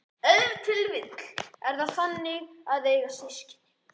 Ef til vill er það þannig að eiga systkin?